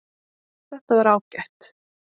Þetta var ágætt